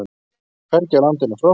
Hvergi á landinu er frost